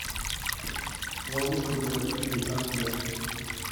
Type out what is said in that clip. ловушка для родителей аш д